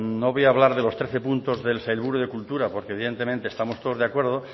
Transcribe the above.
no voy a hablar de los trece puntos del sailburu de cultura porque evidentemente estamos todos de acuerdo